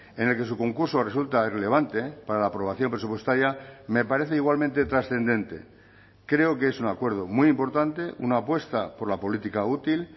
en el que su concurso resulta irrelevante para la aprobación presupuestaria me parece igualmente trascendente creo que es un acuerdo muy importante una apuesta por la política útil